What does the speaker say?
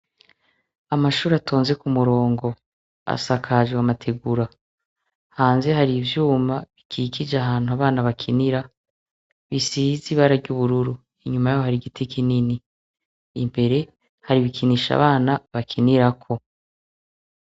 Amashure atonze kumurongo asakajwe amategura harI ivyuma bikikije ahantu abana bakinira bisize ibara ryubururu inyuma yabo hari igiti kinini imbere hari ibikinisho abana bakinirako